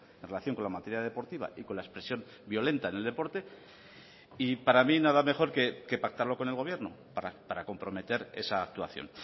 en relación con la materia deportiva y con la expresión violenta en el deporte y para mí nada mejor que pactarlo con el gobierno para comprometer esa actuación